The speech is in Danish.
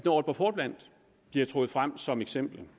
aalborg portland bliver trukket frem som eksempel